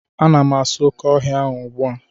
Ana m asụ oke ọhịa ahụ ugbu a